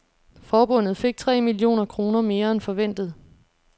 Forbundet fik tre millioner kroner mere end forventet.